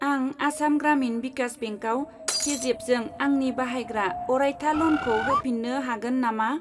आं आसाम ग्रामिन भिकास बेंकआव पेजेफजों आंनि बाहायग्रा अरायथा ल'नखौ होफिन्नो हागोन नामा?